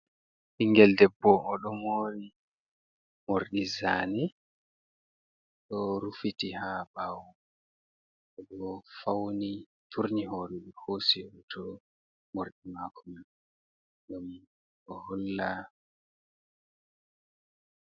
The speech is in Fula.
Ɓingel debbo o do mori morɗi zane, ɗo rufiti ha ɓawo, oɗo fauni turni horeni, hosi hoto mordi mako mai o holla.